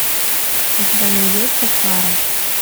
у тебя найдется фара